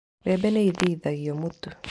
Mbembe nĩ ithĩithagio mũtu.